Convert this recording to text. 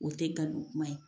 O tɛ galon kuma ye.